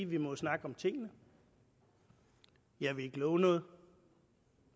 vi jo må snakke om tingene jeg vil ikke love noget